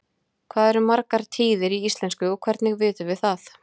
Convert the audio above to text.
Hvað eru margar tíðir í íslensku og hvernig vitum við það?